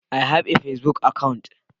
I have a pacebook account.